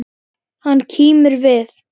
Hann kímir við.